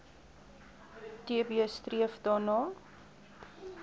tb streef daarna